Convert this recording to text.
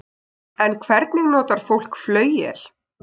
En hvernig notar fólk flauel?